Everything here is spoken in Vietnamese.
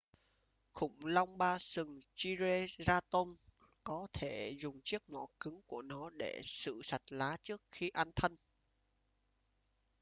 khủng long ba sừng triceratop có thể dùng chiếc mỏ cứng của nó để xử sạch lá trước khi ăn thân